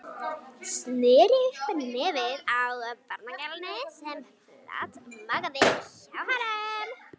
Sneri upp á nefið á barnagælunni sem flatmagaði hjá honum.